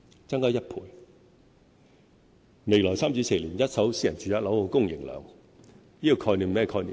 在未來3至4年，一手私人住宅樓宇的供應量......